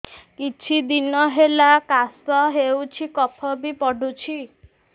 କିଛି ଦିନହେଲା କାଶ ହେଉଛି କଫ ବି ପଡୁଛି